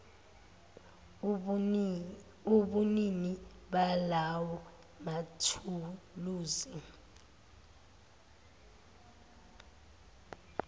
ubunini balawo mathuluzi